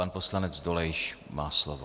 Pan poslanec Dolejš má slovo.